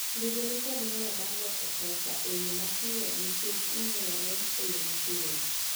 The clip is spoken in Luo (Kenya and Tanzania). mbidhi ni kod nyalo mar loso pesa eyo mapiyo nikech onyuolore eyo mapiyo